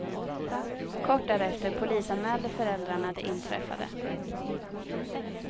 Kort därefter polisanmälde föräldrarna det inträffade.